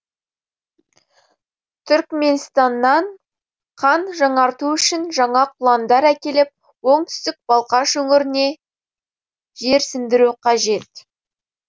түрікменстаннан қан жаңарту үшін жаңа құландар әкеліп оңтүстік балқаш өңіріне жерсіндіру қажет